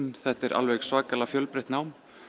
þetta er alveg svakalega fjölbreytt nám